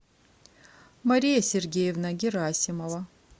мария сергеевна герасимова